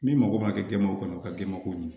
Min mago b'a kɛ denbaw kɔnɔ u ka denbako ɲɛna